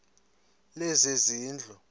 lezezindlu